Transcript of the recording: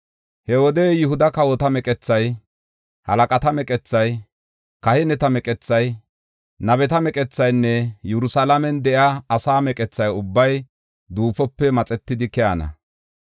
“He wode Yihuda kawota meqethay, halaqata meqethay, kahineta meqethay, nabeta meqethaynne Yerusalaamen de7iya asaa meqetha ubbay duufope maxetidi keyana.